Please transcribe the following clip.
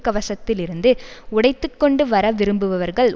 கவசத்தில் இருந்து உடைத்து கொண்டு வரவிரும்புபவர்கள்